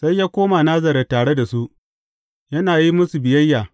Sai ya koma Nazaret tare da su, yana yi musu biyayya.